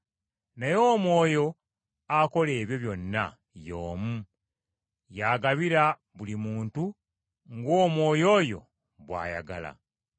Naye Omwoyo akola ebyo byonna y’omu, y’agabira buli muntu ng’Omwoyo oyo bw’ayagala.